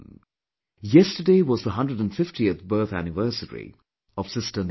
Yesterday was the 150th birth anniversary of Sister Nivedita